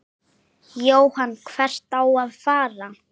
Jóhann: Hvert á að fara?